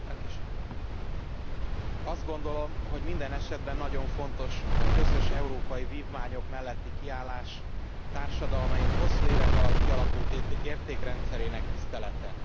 Elnök Úr, azt gondolom, hogy minden esetben nagyon fontos a közös európai vívmányok melletti kiállás, társadalmaink hosszú évek alatt kialakult értékrendszerének tisztelete.